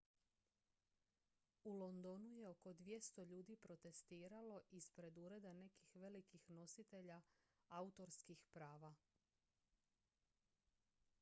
u londonu je oko 200 ljudi protestiralo ispred ureda nekih velikih nositelja autorskih prava